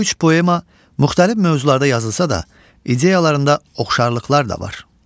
Bu üç poema müxtəlif mövzularda yazılsa da, ideyalarında oxşarlıqlar da var.